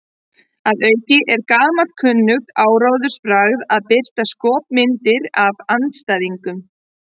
Að auki er gamalkunnugt áróðursbragð að birta skopmyndir af andstæðingnum.